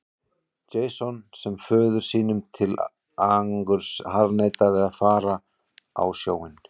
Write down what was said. Jason sem föður sínum til angurs harðneitaði að fara á sjóinn.